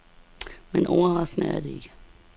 Men overraskende er det ikke.